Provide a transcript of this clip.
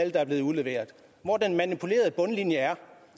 er blevet udleveret hvor den manipulerede bundlinje er